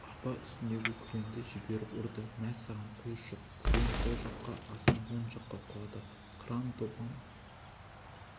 арба үстіңдегі күреңді жіберіп ұрды мә саған құйыршық күрең сол жаққа асан оң жаққа құлады қыран-топан